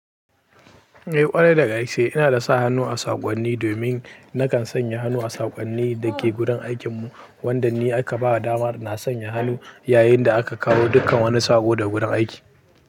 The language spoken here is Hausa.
Eh ƙwarai daga gaske ina da sa hannu a saƙonni domin nakan sanya hannu a saƙonnin da ke gurin aikin mu wanda ni aka ba damar na sanya hannu yayin da aka kawo dukkan wani saƙo da gudan aiki.